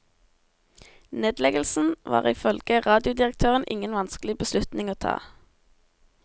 Nedleggelsen var ifølge radiodirektøren ingen vanskelig beslutning å ta.